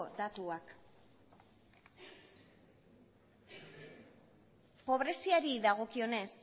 datuak pobreziari dagokionez